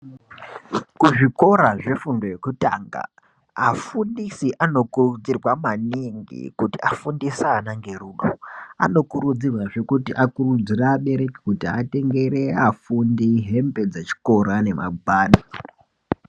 Kuzvikora zvefundo yekutanga afundisi anokurudzirwa maningi kuti afundise ana ngerudo. Anokuridzirwazve kuti akurudzire abereki kuti atenge afundi hembe dzechikora nemagwada.